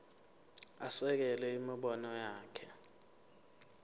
asekele imibono yakhe